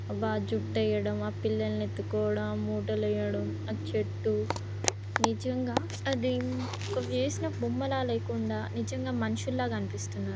అబ్బ ఆ జుట్టు ఏయడం ఆ పిల్లల్ని ఎత్తుకోవడం ఆ మూటలు ఏయడం ఆ చెట్టు నిజంగా అది ఒక వేసిన బొమ్మలా లేకుండా నిజంగా మనుషుల్లా అనిపిస్తున్నారు.